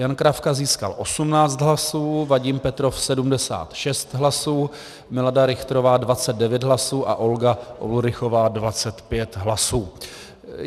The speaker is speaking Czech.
Jan Kravka získal 18 hlasů, Vadim Petrov 76 hlasů, Milada Richterová 29 hlasů a Olga Ulrichová 25 hlasů.